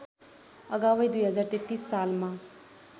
अगावै २०३३ सालमा